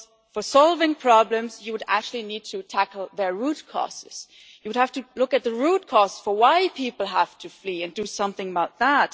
for solving problems you would actually need to tackle their root causes. You would have to look at the root cause for why people have to flee, and do something about that.